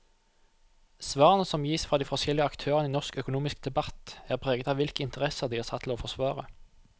Svarene som gis fra de forskjellige aktørene i norsk økonomisk debatt, er preget av hvilke interesser de er satt til å forsvare.